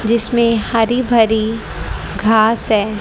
जिसमें हरि भरी घास है।